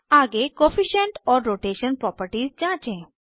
आगे coefficient coefficient और rotation properties जाँचें